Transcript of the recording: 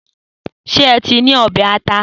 Se é ṣì ní ọbẹ̀ ata?